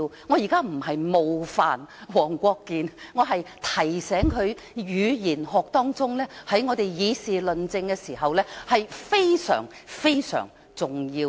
我現在不是冒犯黃國健議員，我是提醒他，語言學在我們議事論政時非常重要。